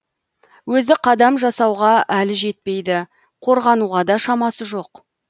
өзі қадам жасауға әлі жетпейді қорғануға да шамасы жоқ